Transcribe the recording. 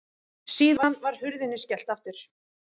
Síðan var hurðinni skellt aftur.